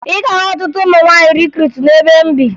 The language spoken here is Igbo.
Ị ga-ahụ ọtụtụ ụmụ nwaanyị rikruutu n'ebe m bi